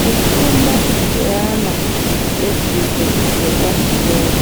Kufunda kweana edzidzo dzepamusoro